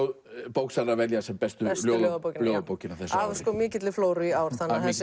bóksalar velja sem bestu ljóðabókina ljóðabókina á þessu ári af mikilli flóru í ár